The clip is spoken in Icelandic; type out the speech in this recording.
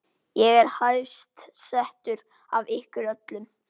Ég er hæst settur af ykkur öllum!